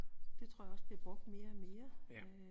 Det tror jeg også bliver brugt mere og mere